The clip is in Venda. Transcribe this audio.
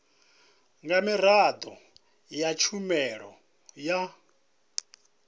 nga miraḓo ya tshumelo ya